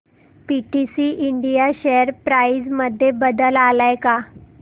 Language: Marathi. पीटीसी इंडिया शेअर प्राइस मध्ये बदल आलाय का